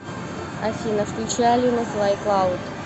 афина включи алину флай клауд